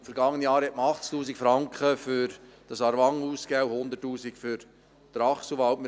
Im vergangenen Jahr hat man 80’000 Franken für Aarwangen ausgegeben und 100’000 Franken für Trachselwald.